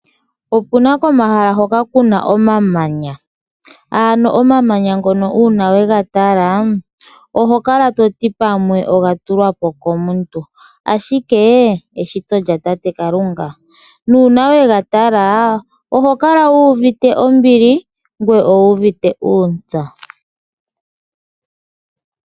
Opuna komahala hoka ku na omamanya. Uuna wa tala omamanya ngoka oto hala wu tye oga tulwa po kaantu , ihe eshito owala lyatate Kalunga. Uuna we ga tala oho kala wu uvite ombili ngoye owu uvite uuntsa.